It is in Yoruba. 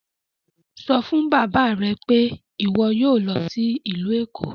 Sọ fun baba rẹ pe iwọ yoo lọ si ilu Eko!